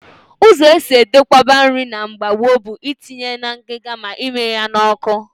Ụzọ esi edokwaba nri na mgbe gboo bụ itinye na ngịga ma ịmịnye ya n'ọkụ